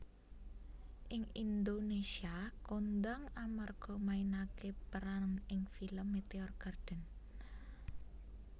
Ing Indonésia kondhang amarga mainaké peran ing film Meteor Garden